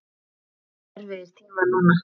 Það eru erfiðir tímar núna.